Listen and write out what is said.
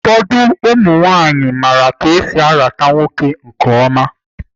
Ụfọdụ ụmụ nwanyị maara ka esi arata ụmụ nwoke nke ọma